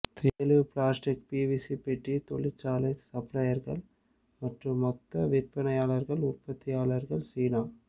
தெளிவு plastic PVC பெட்டி தொழிற்சாலை சப்ளையர்கள் மற்றும் மொத்த விற்பனையாளர்கள் உற்பத்தியாளர்கள் சீனா